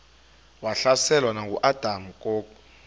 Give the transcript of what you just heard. wahlaselwa nanguadam kok